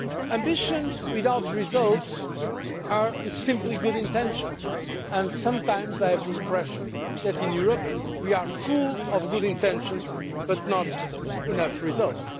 Ambitions without results are simply good intentions, and sometimes I have the impression that in Europe we are full of good intentions but with not enough results.